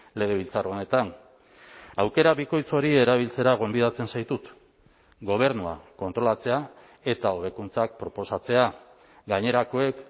legebiltzar honetan aukera bikoitz hori erabiltzera gonbidatzen zaitut gobernua kontrolatzea eta hobekuntzak proposatzea gainerakoek